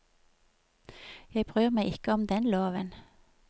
Jeg bryr meg ikke om den loven.